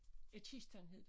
Ja kisten hed det